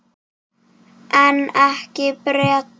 En ekki Bretar.